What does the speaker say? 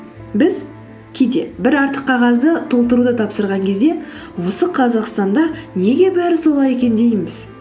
біз кейде бір артық қағазды толтыруды тапсырған кезде осы қазақстанда неге бәрі солай екен дейміз